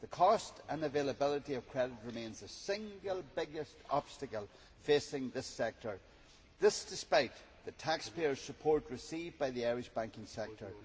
The cost and availability of credit remains the single biggest obstacle facing this sector, this despite the taxpayer support received by the Irish banking sector.